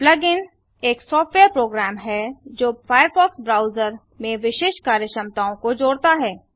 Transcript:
plug in एक software program है जो फायरफॉक्स ब्राउजर में विशिष्ट कार्यक्षमताओं को जोड़ता है